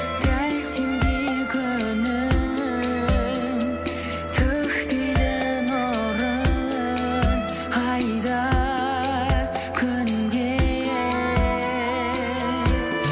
дәл сендей күнім төкпейді нұрын ай да күн де